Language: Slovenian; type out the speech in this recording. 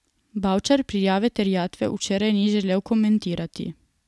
Bavčar prijave terjatve včeraj ni želel komentirati.